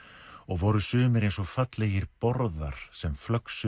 og voru sumir eins og fallegir borðar sem